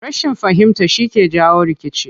Rashin fahimta shi ke jawo rikici.